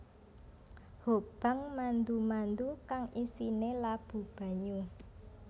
Hobang mandu mandu kang isine labu banyu